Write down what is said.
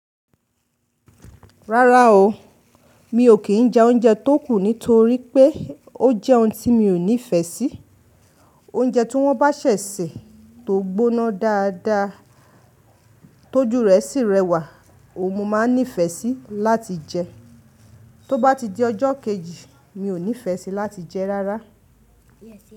Rárá o, mi ò kí ń jẹ oúnjẹ tó kù nítorí pé ó jẹ́ ohun tí mi ò nífẹ̀ẹ́ sí. Oúnjẹ tí wọ́n bá ṣẹ̀ṣẹ̀ tó gbóná dáadáa tó jù rẹ̀ sì rẹwà, oò mọ̀ máa nífẹ̀ẹ́ sí láti jẹ. Tó bá ti di ọjọ́ kejì, mi ò nífẹ̀ẹ́ síi láti jẹ rárá.